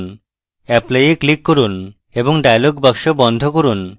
apply এ click করুন এবং dialog box বন্ধ করুন